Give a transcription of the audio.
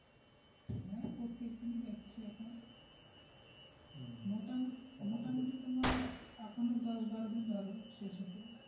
হ্যাঁ প্রত্যেকদিনই যাচ্ছে এখন মোটামুটি, মোটামুটি তোমার এখনো দশ-বারো দিন ধরো শেষ হতে,